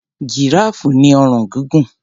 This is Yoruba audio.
Jìráàfù ní ọrùn gúngùn.